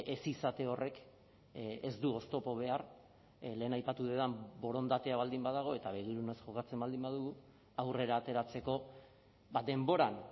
ez izate horrek ez du oztopo behar lehen aipatu dudan borondatea baldin badago eta begirunez jokatzen baldin badugu aurrera ateratzeko denboran